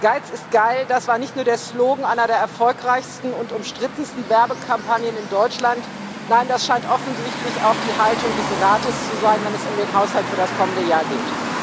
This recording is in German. Geiz ist geil das war nicht nur der Slogan einer der erfolgreichsten und umstrittensten Werbekampagnen in Deutschland, nein, das scheint offensichtlich auch die Haltung des Rates zu sein, wenn es um den Haushalt für das kommende Jahr geht.